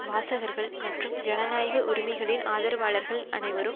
வாசகர்கள் மற்றும் ஜனநாயக உரிமைகளின் ஆதரவாளர்கள் அனைவரும்